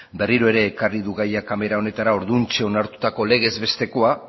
berriro ere ekarri du gaia kamara honetara orduantxe onartutako legez bestekoa